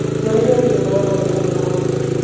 Nyonire thinema ya mathekania hwainĩ.